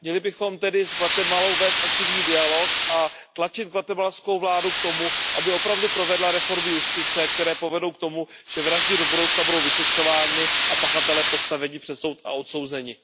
Měli bychom tedy s Guatemalou vést aktivní dialog a tlačit guatemalskou vládu k tomu, aby opravdu provedla reformy justice, které povedou k tomu, že vraždy do budoucna budou vyšetřovány a pachatele postaveni před soud a odsouzeni.